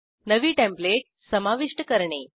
नवी टेंप्लेट समाविष्ट करणे